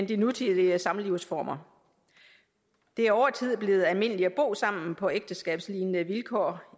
de nutidige samlivsformer det er over tid blevet almindeligt at bo sammen på ægteskabslignende vilkår